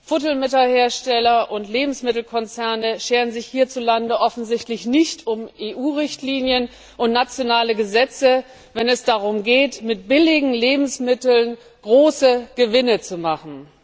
Futtermittelhersteller und Lebensmittelkonzerne scheren sich dort offensichtlich nicht um EU Richtlinien und nationale Gesetze, wenn es darum geht, mit billigen Lebensmitteln große Gewinne zu machen.